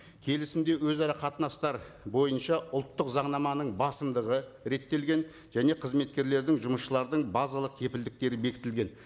келісімде өзара қатынастар бойынша ұлттық заңнаманың басымдығы реттелген және қызметкерлердің жұмысшылардың базалық кепілдіктері бекітілген